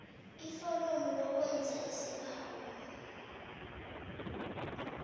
iforomo lokwenza isibawo